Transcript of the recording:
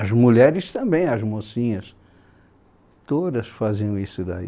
As mulheres também, as mocinhas, todas faziam isso daí.